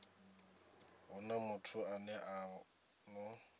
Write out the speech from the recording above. huna muthu ane a ḓo